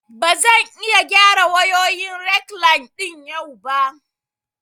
Ba zan iya gyara wayoyin rekline ɗin yau ba